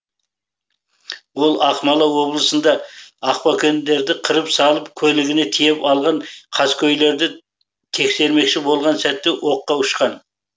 ол ақмола облысында ақбөкендерді қырып салып көлігіне тиеп алған қаскөйлерді тексермекші болған сәтте оққа ұшқан